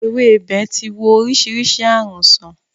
Ewébẹ̀ ti wo oríṣiríṣi ààrùn sán.